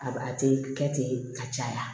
A a tɛ kɛ ten ka caya